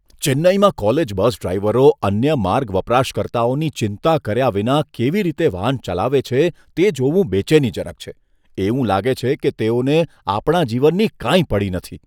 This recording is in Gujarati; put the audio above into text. ચેન્નઈમાં કોલેજ બસ ડ્રાઇવરો અન્ય માર્ગ વપરાશકર્તાઓની ચિંતા કર્યા વિના કેવી રીતે વાહન ચલાવે છે તે જોવું બેચેનીજનક છે. એવું લાગે છે કે તેઓને આપણા જીવનની કાંઈ પડી નથી.